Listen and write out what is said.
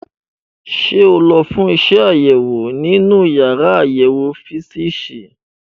Ṣé o lọ fún iṣẹ́ àṣewò nínú yàrá àyẹ̀wò físììsì?